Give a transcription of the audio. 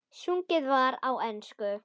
Sungið var á ensku.